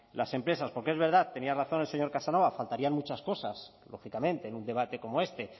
las empresas porque es verdad tenía razón el señor casanova faltarían muchas cosas lógicamente en un debate como este